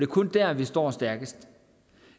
kun der vi står stærkest